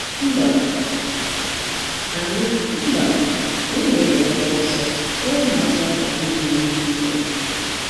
Mba, anyị Mba, anyị na-ebelata ọsọ ka ụmụaka ghara inwe ihe ize ndụ.